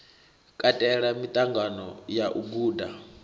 katela miṱangano ya u guda